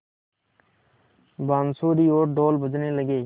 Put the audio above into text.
बाँसुरी और ढ़ोल बजने लगे